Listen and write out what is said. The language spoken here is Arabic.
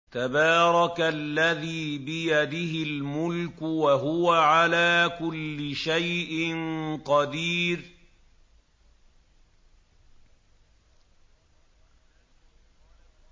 تَبَارَكَ الَّذِي بِيَدِهِ الْمُلْكُ وَهُوَ عَلَىٰ كُلِّ شَيْءٍ قَدِيرٌ